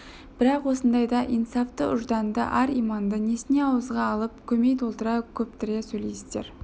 бірақ осындайда инсафты ұжданды ар-иманды несіне ауызға алып көмей толтыра көптіре сөйлейсіздер